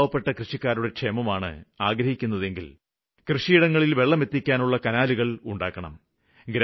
പാവപ്പെട്ട കൃഷിക്കാരുടെ ക്ഷേമം ആഗ്രഹിക്കുന്നുണ്ടെങ്കില് പാടങ്ങള്വരെ വെള്ളം എത്തിക്കാനുള്ള കനാലുകള് ഉണ്ടാക്കണം